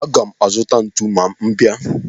Aga m azuta ntu ma m bia.